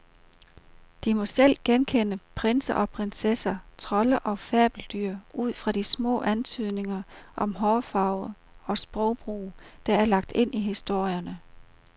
De må selv genkende prinser og prinsesser, trolde og fabeldyr ud fra de små antydninger om hårfarve og sprogbrug, der er lagt ind i historierne.